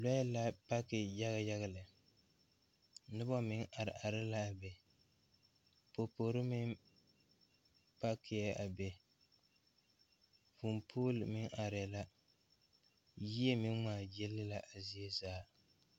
Lɔɛ la paki yaga yaga lɛ nobɔ meŋ are are laa be poporre meŋ pakiɛɛ a be vūū pool meŋ areɛɛ la yie meŋ ngmaagyile la a zie zaa.